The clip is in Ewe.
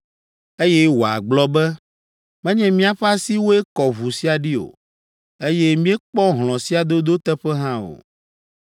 eye wòagblɔ be, ‘Menye míaƒe asiwoe kɔ ʋu sia ɖi o, eye míekpɔ hlɔ̃ sia dodo teƒe hã o.